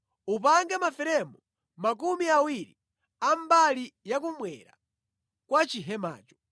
Upange maferemu makumi awiri a mbali yakummwera kwa chihemacho.